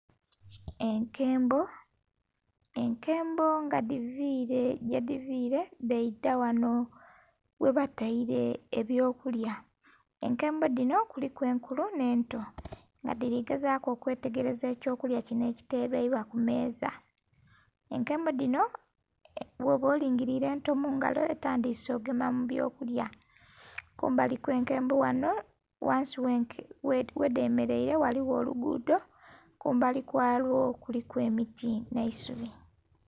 Enkembo, enkembo nga dhiviile yedivile dheidha ghanho ghabatele ebyokulya, enkembo dhinho kuliku enkulu nhe nto nga dhili gezaku okwetegereza ekyo kulya kinho ekitelebwa ku miiza. Enkembo dhinho bwooba olingilile ento mungalo etandhise okugema mubyokulya, kumbali okw' enkembo ghanho ghansi ghedhemeleire ghaligho olugudho kumbali kwalwo kuliku emiti nhe isubi.